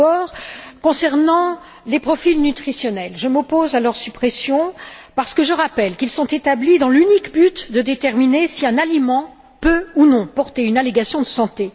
Tout d'abord, concernant les profils nutritionnels je m'oppose à leur suppression parce que je rappelle qu'ils sont établis dans l'unique but de déterminer si un aliment peut ou non porter une allégation de santé.